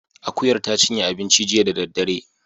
Akuyar ta cinye abinci jiya da daddare